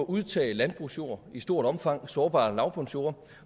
udtage landbrugsjord i stort omfang sårbare lavbundsjorde